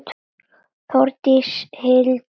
Þórdís, Hildur og Vala.